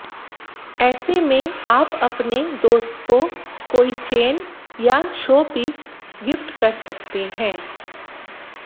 ऐसे में आप अपने दोस्त को कोई चेन या शो पीस गिफ्ट कर सकते हैं